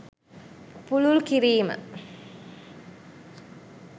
පුළුල් කිරීම